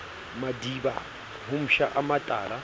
madiba ho psha a matala